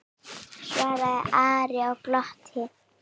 svaraði Ari og glotti.